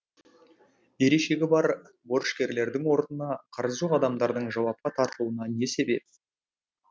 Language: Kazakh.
берешегі бар борышкерлердің орнына қарызы жоқ адамдардың жауапқа тартылуына не себеп